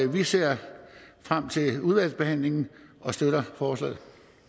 vi ser frem til udvalgsbehandlingen og støtter forslaget